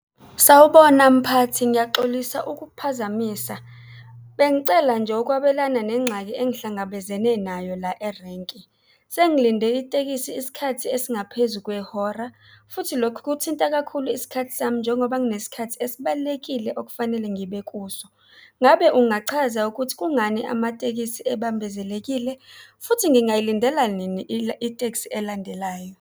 Sawubona, mphathi. Ngiyaxolisa ukukuphazamisa. Bengicela nje ukwabelana nenxaki engihlangabezene nayo la erenki. Sengilinde itekisi isikhathi esingaphezu kwehora futhi lokhu kuthinta kakhulu isikhathi sami, njengoba kunesikhathi esibalulekile okufanele ngibe kuso. Ngabe ungachaza ukuthi kungani amatekisi ebambezelekile futhi ngingayilindela nini itekisi elandelayo?